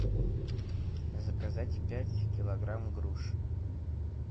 заказать пять килограмм груш